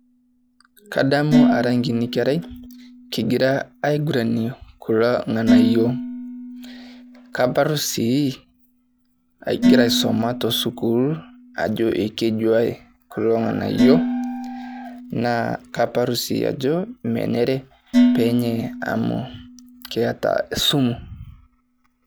Kadamu ara nkini kerai kigira aiguranie kula ng'anayio. Kabar sii agira aisoma te sukuul ajo kejua kulo ng'anayio naa kator sii ajo menere peenyai amu keeta e sumu.